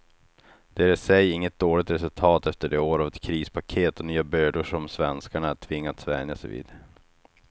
Det är i sig inget dåligt resultat efter de år av krispaket och nya bördor som svenskarna tvingats vänja sig vid.